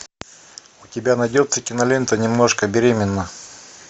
у тебя найдется кинолента немножко беременна